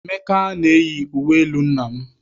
Emeka na-eyi uwe elu nna m.